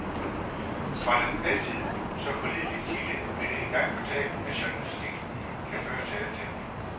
Fra den altid så pålidelige kilde blev det engang fortalt, at journalistik kan føre til alting.